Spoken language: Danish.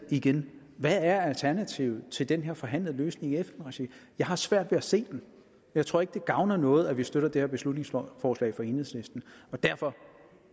igen hvad er alternativet til den her forhandlede løsning i fn regi jeg har svært ved at se den jeg tror ikke det gavner noget at vi støtter det her beslutningsforslag fra enhedslisten og derfor